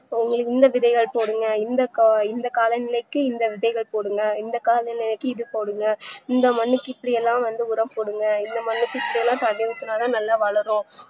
உங்களுக்கு இந்த விதைய போடுங்க இந்தகா இந்த காலநிலைக்கு இந்த விதைகள் போடுங்க இந்த காலநிலைக்கு இதபோடுங்க இந்த மண்ணுக்கு இப்டியெல்லாம் வந்து உரம் போடுங்க இந்த மழைக்கு இப்டிலா தண்ணி ஊத்துனாலே நல்ல வளரும்